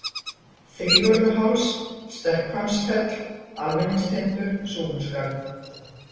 Þrívörðuháls, Stekkhvammsfell, Almenningstindur, Súluskarð